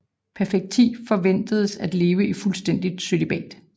Perfecti forventedes at leve i fuldstændigt cølibat